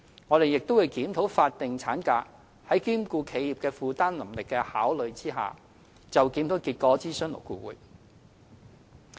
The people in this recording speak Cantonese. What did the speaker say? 我們亦正檢討法定產假，在兼顧企業負擔能力下，就檢討結果諮詢勞工顧問委員會。